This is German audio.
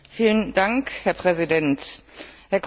Herr Präsident, Herr Kommissar!